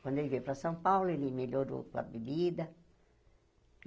Quando ele veio para São Paulo, ele melhorou com a bebida.